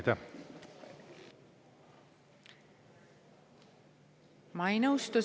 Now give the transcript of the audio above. Teie aeg!